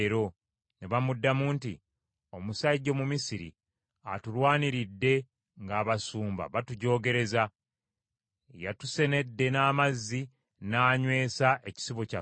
Ne bamuddamu nti, “Omusajja Omumisiri atulwaniridde ng’abasumba batujoogereza; y’atusenedde n’amazzi n’anywesa ekisibo kyaffe.”